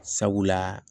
Sabula